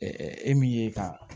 e min ye ka